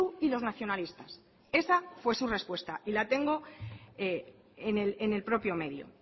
y los nacionalistas esa fue su respuesta y la tengo en el propio medio